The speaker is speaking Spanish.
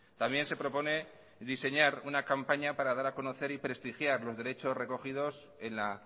también se propone diseñar una campaña para dar a conocer y prestigiar los derechos recogidos en la